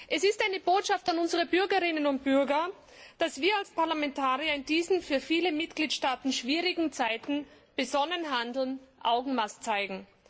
Es ist eine Botschaft an unsere Bürgerinnen und Bürger, dass wir als Parlamentarier in diesen für viele Mitgliedstaaten schwierigen Zeiten besonnen handeln, Augenmaß zeigen.